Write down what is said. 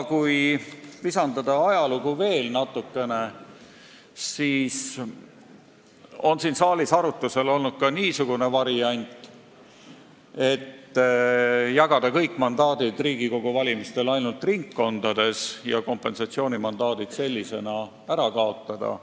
Kui visandada veel natukene ajalugu, siis on siin saalis arutusel olnud ka niisugune variant, et võiks jagada kõik mandaadid Riigikogu valimistel ainult ringkondades ja kompensatsioonimandaadid üldse ära kaotada.